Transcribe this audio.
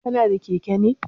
Kana da keke ne?